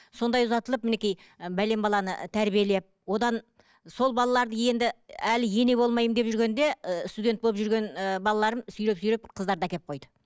сондай ұзатылып мінекей ы бәлен баланы тәрбиелеп одан сол балаларды енді әлі ене болмаймын деп жүргенде ыыы студент болып жүрген ііі балаларым сүйреп сүйреп қыздарды әкеп қойды